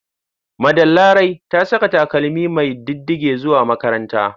Madam Larai ta saka takalmi mai diddige zuwa makaranta.